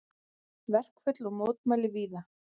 Verkföll og mótmæli víða